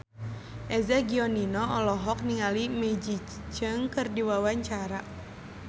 Eza Gionino olohok ningali Maggie Cheung keur diwawancara